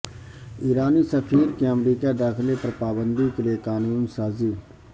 ایرانی سفیر کے امریکہ داخلے پر پابندی کے لیےقانون سازی